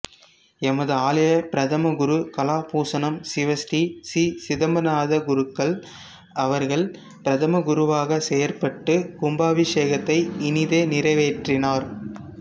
எமது ஆலயப் பிரதம குரு கலாபூசணம் சிவஸ்ரீ சி சிதம்பரநாதக்குருக்கள் அவர்கள் பிரதம குருவாகச் செயற்பட்டு கும்பாபிஷேகத்தை இனிதே நிறைவேற்றினார்